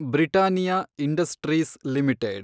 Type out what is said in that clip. Britannia industries limited